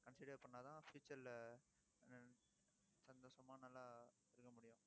consider பண்ணாதான் future ல ஹம் சந்தோஷமா நல்லா இருக்க முடியும்